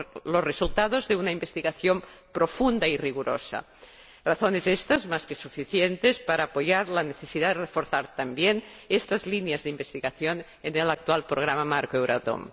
los resultados de una investigación profunda y rigurosa, razones éstas más que suficientes para apoyar la necesidad de reforzar también estas líneas de investigación en el actual Programa Marco Euratom.